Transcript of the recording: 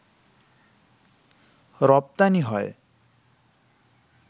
রপ্তানি হয়